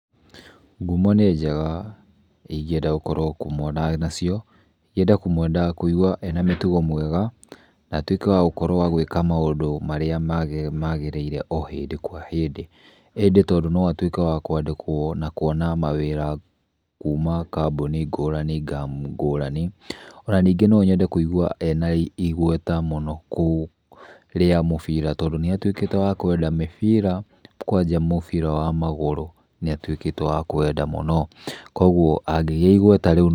Ngumo nĩ njega na ingĩenda gũkorwo ngumo ndĩ na cio, ingĩenda kũmũigua ena mĩtugo mĩega na atuĩke wa gwĩka maũndũ marĩa magerĩire o hĩndĩ kwa hĩndĩ, ĩndĩ no atuĩke wa kwandĩkwo na kwona mawĩra kuma kambuni ngũrani ngũrani, ona ningĩ no nyende kũigua arĩ na igweta mũno kũu rĩa mũbira tondũ nĩ atuĩkĩte wa kwenda mũbira kwanja mũbira wa magũrũ nĩ atũĩte wa kũwenda mũno, kwoguo angĩgĩa igweta rĩu.